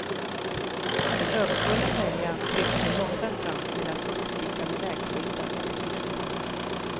Den överfulla färjan kryssar sig långsamt fram mellan uppstickande vägskyltar och hustak.